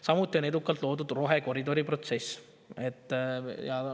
Samuti on edukalt loodud rohekoridor.